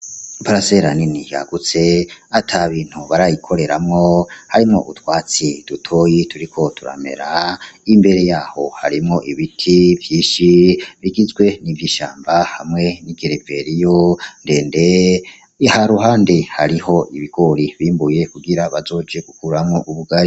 Iparasera nini yagutse atabintu barayikoreramwo, harimwo utwatsi dutoyi turiko turamera. Imbere yaho harimwo ibiti vyinshi bigizwe n’ivyishamba hamwe n’igereveriyo ndende. Iruhande hariho ibigori bimbuye kugira bozoje kuguramwo ubugari.